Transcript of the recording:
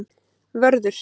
Vörður